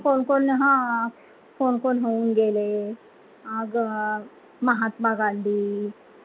कोण - कोण हा कोण - कोण होऊन गेले महात्मा गांधी